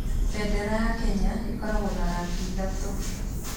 Bendera ya Kenya ĩkoragwo na rangi ithatũ.